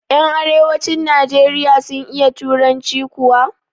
Yan arewacin nijeriya sun iya turanci kuwa?